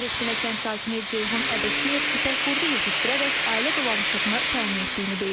Velat Binəkənd sakini Ceyhun Əbəkiyev ipəkqurdu yetişdirərək ailə dolanışığını təmin etdiyini deyir.